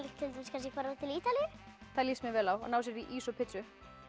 til dæmis kannski að fara til Ítalíu það líst mér vel á að ná sér í ís og pitsu